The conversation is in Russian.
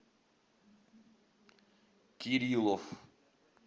кириллов